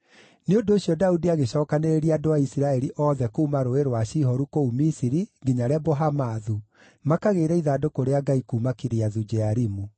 Nĩ ũndũ ũcio Daudi agĩcookanĩrĩria andũ a Isiraeli othe kuuma Rũũĩ rwa Shihoru kũu Misiri nginya Lebo-Hamathu, makagĩĩre ithandũkũ rĩa Ngai kuuma Kiriathu-Jearimu.